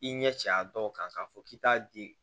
I ɲɛ cɛ a dɔw kan k'a fɔ k'i t'a di